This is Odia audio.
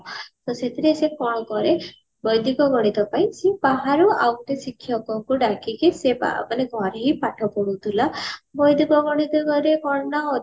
ତ ସେଥିରେ ସେ କଣ କରେ ବୈଦିକ ଗଣିତ ପାଇଁ ସିଏ ବାହାରୁ ଆଉ ଗୋଟେ ଶିକ୍ଷକଙ୍କୁ ଡାକିକି ସିଏ ମାନେ ଘରେ ହିଁ ପାଠ ପଢୁଥିଲା ବୈଦିକ ଗଣିତ କଣନା